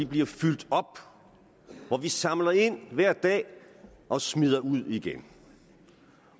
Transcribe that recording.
bliver fyldt op og hvor de samler ind hver dag og smider ud igen